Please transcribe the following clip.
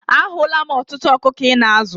A hụla m ọtụtụ ọkụkọ Ị na-azụ.